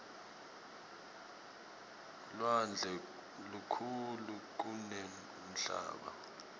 lwandle lukhulu kunemhlaba